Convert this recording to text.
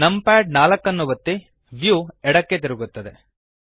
numpad 4 ಒತ್ತಿ view ಎಡಕ್ಕೆ ತಿರುಗುತ್ತದೆ